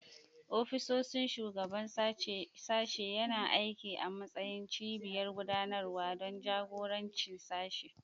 Ofishin Shugaban Sashen yana aiki a matsayin cibiyar gudanarwa don jagorancin sashe.